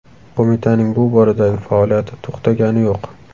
Qo‘mitaning bu boradagi faoliyati to‘xtagani yo‘q.